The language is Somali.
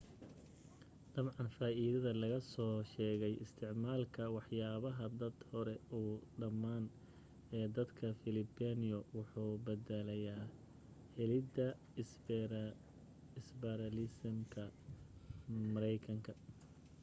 dabcan faaidada laga soo dheegay isticmaalka waxyaalaha aad hore u dhamaan ee dadka filibino wuxuu badalayaa helida iberalisamka maraykanka